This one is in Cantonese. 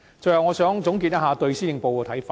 最後，我想總結一下對施政報告的看法。